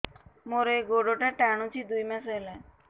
ମୋର ଏଇ ଗୋଡ଼ଟା ଟାଣୁଛି ଦୁଇ ମାସ ହେଲା